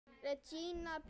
Regína Björk!